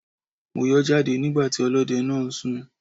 Mo yọ́ jáde nígbà tí ọlọ́dẹ náà ń sùn.